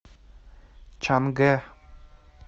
чангэ